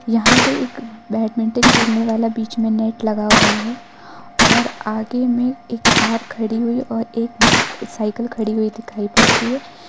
यहां पे एक बैडमिंटन खेलने वाला बीच में नेट लगा हुआ है और आगे में एक कार खड़ी हुई और एक साइकिल खड़ी दिखाई पड़ती है।